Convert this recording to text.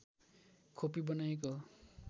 खोपी बनाइएको हो